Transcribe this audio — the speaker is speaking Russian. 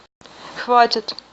хватит